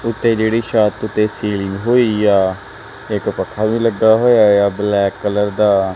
ਉੱਤੇ ਜਿਹੜੀ ਛੱਤ ਤੇ ਸੀਲਿੰਗ ਹੋਈ ਆ ਇਕ ਪੱਖਾ ਵੀ ਲੱਗਾ ਹੋਇਆ ਬਲੈਕ ਕਲਰ ਦਾ।